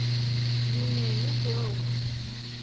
вениамин белоусов